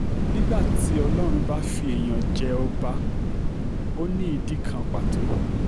nígbà tí ọlọ́run bá fi èèyàn jẹ ọba ó ní ìdí kan pàtó